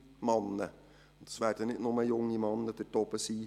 Es werden nicht nur junge Männer dort oben sein.